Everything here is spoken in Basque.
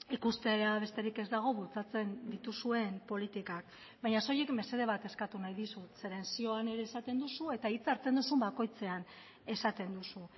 ikustea besterik ez dago bultzatzen dituzuen politikak baina soilik mesede bat eskatu nahi dizut zeren zioan ere esaten duzu eta hitza hartzen duzun bakoitzean esaten duzu